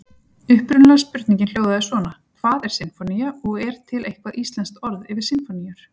Upprunalega spurningin hljóðaði svona: Hvað er sinfónía og er til eitthvað íslenskt orð yfir sinfóníur?